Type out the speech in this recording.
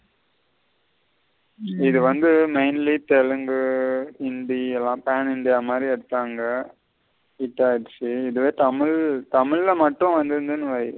இது வந்து mainly telungu, hindi எல்லாம் மாதிரி எடுத்தாங்க hit ஆகிரிச்சி. இதுவே தமிழ் இதுவே தமிழா மட்டும் வந்துறுந்தன வை.